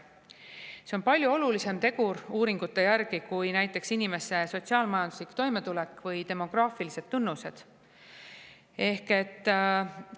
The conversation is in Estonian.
See on uuringute järgi palju olulisem tegur kui näiteks inimeste sotsiaal-majanduslik toimetulek või demograafilised.